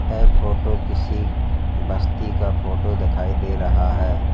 यह फोटो किसी बस्ती का फोटो दिखाई दे रहा है।